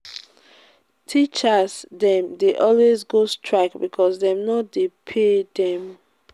teachers dem dey always go strike because dem no dey pay dem.